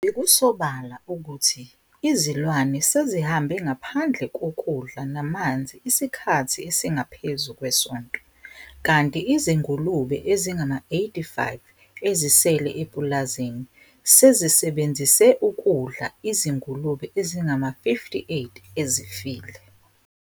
Bekusobala ukuthi izilwane sezihambe ngaphandle kokudla namanzi isikhathi esingaphezu kwesonto, kanti izingulube ezingama-85 ezisele epulazini sezisebenzise ukudla izingulube ezingama-58 ezifile.